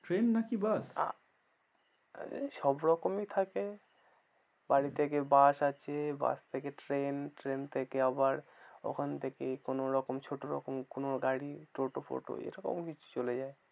Train নাকি bus সবরকমই থাকে বাড়ি থেকে bus আছে bus থেকে train train থেকে আবার ওখান থেকেই কোনো রকম ছোট রকম কোন গাড়ি টোটো ফোটো এরকম কিছু চলে যায়।